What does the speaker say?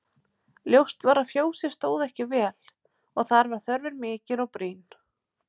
Ljóst var að fjósið stóð ekki vel og þar var þörfin mikil og brýn.